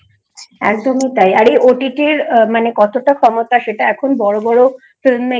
একদমই তাই আরে OTT এর মানে কতটা ক্ষমতা সেটা এখন বড়ো বড়োFilm